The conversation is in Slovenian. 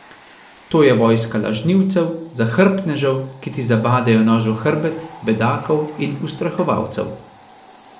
To je vojska lažnivcev, zahrbtnežev, ki ti zabadajo nož v hrbet, bedakov in ustrahovalcev.